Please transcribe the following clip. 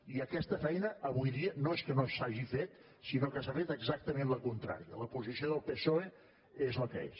i aquesta feina avui dia no és que no s’hagi fet sinó que s’ha fet exactament la contrària la posició del psoe és la que és